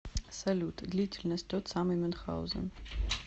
салют длительность тот самый мюнхаузен